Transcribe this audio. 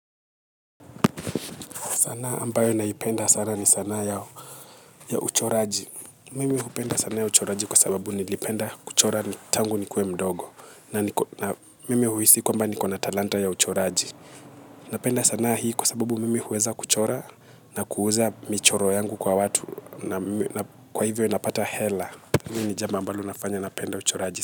Sanaa ambayo naipenda sana ni sanaa ya uchoraji. Mimi hupenda sanaa ya uchoraji kwa sababu nilipenda kuchora tangu nikuwe mdogo. Na niko na mimi huhisi kwamba niko na talanta ya uchoraji. Napenda sanaa hii kwa sababu mimi huweza kuchora na kuuza michoro yangu kwa watu. Kwa hivyo napata hela hili ni jambo ambalo linafanya napenda uchoraji.